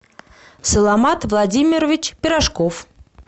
саламат владимирович пирожков